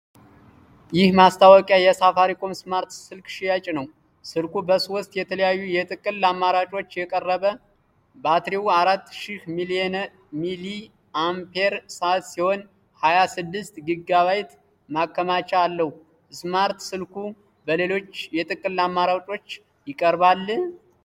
ይህ ማስታወቂያ የሳፋሪኮም ስማርት ስልክ ሽያጭ ነው። ስልኩ በሶስት የተለያዩ የጥቅል አማራጮች ቀረበ። ባትሪው አራት ሺህ ሚሊ አምፔር ሰአት ሲሆን ሃያ ስድስት ጊጋ ባይት ማከማቻ አለው። ስማርት ስልኩ በሌሎች የጥቅል አማራጮች ይቀርባል?